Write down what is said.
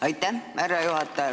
Aitäh, härra juhataja!